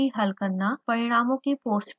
परिणामों की post processing